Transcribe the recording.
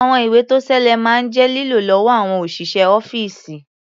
Àwọn ìwé-tó-ṣeé-lẹ̀ máa ń jẹ́ lílò lọ́wọ́ àwọn òṣìṣẹ́ ọ́fíìsì.